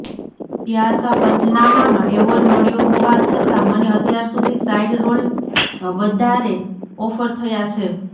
પ્યાર કા પંચનામાંમાં એવોર્ડ મળ્યો હોવા છતાં મને અત્યારસુધી સાઇડ રોલ વદાારે ઓફર થયા છે